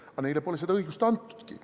Aga neile pole seda õigust antudki!